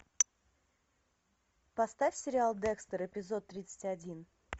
поставь сериал декстер эпизод тридцать один